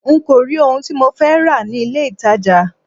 N kò rí ohun tí mo fẹ́ rà ní ilé ìtajà.